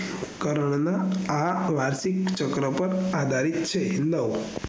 curve ના આ વાર્ષિકચક્ર પર આધારિત છે નવ